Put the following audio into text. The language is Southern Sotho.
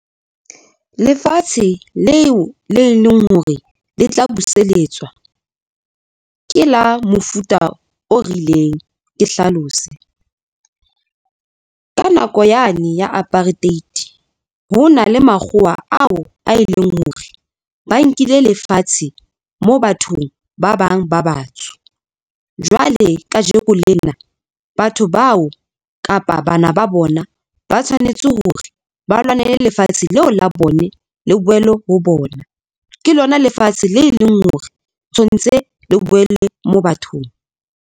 Lefatshe leo le leng hore le tla buseletswa ke la mofuta o rileng ke hlalose, ka nako yane ya apartheid, ho na le makgowa ao a e leng hore ba nkile lefatshe moo bathong ba bang ba batsho. Jwale kajeko lena, batho bao kapa ba bana ba bona ba tshwanetse hore ba lwanele lefatshe leo la bone le boele ho bona. Ke lona lefatshe le leng hore tshwantse le boele mo bathong.